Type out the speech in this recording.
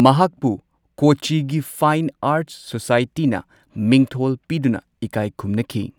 ꯃꯍꯥꯛꯄꯨ ꯀꯣꯆꯤꯒꯤ fine arts ꯁꯣꯁꯥꯏꯇꯤꯅ ꯃꯤꯡꯊꯣꯜ ꯄꯤꯗꯨꯅ ꯏꯀꯥꯏ ꯈꯨꯝꯅꯈꯤ꯫